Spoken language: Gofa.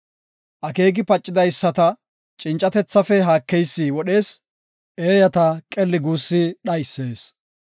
Akeeki pacidaysata cincatethafe haakeysi wodhees; eeyata qelli guussi dhaysees.